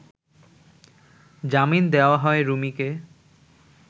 জামিন দেওয়া হয় রুমিকে